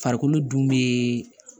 Farikolo dun bee